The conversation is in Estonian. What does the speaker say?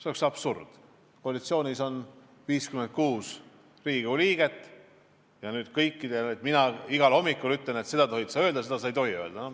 See oleks absurd, kuna koalitsioonis on 56 Riigikogu liiget ja ma ei saa kõikidele igal hommikul öelda, et seda sa tohid öelda, seda sa ei tohi öelda.